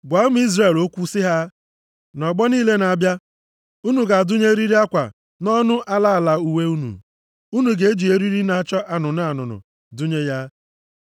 “Gwa ụmụ Izrel okwu sị ha, ‘Nʼọgbọ niile na-abịa unu ga-adụnye eriri akwa nʼọnụ ala ala uwe unu. Unu ga-eji eriri na-acha anụnụ anụnụ dụnye ya.